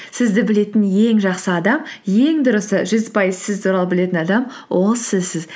сізді білетін ең жақсы адам ең дұрысы жүз пайыз сіз туралы білетін адам ол сізсіз